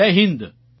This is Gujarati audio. જય હિન્દ